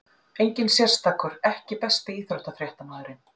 Enginn sérstakur EKKI besti íþróttafréttamaðurinn?